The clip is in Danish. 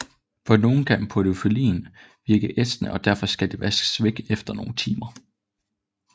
På nogen kan podofyllin virke ætsende og derfor skal det vaskes væk efter nogle timer